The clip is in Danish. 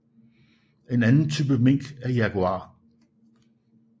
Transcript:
En anden type mink er Jaguar